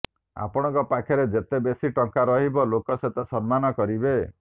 ଆପଣଙ୍କ ପାଖରେ ଯେତେ ବେଶୀ ଟଙ୍କା ରହିବ ଲୋକ ସେତେ ସମ୍ମାନ କରିବେ